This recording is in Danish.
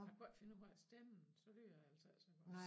Jeg kunne ikke finde ud af at stemme så lyder det altså ikke så godt